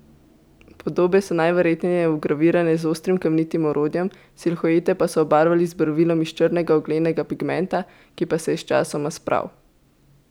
Podobe so najverjetneje vgravirane z ostrim kamnitim orodjem, silhuete pa so obarvali z barvilom iz črnega oglenega pigmenta, ki pa je se je sčasoma spral.